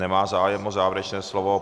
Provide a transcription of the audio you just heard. Nemá zájem o závěrečné slovo.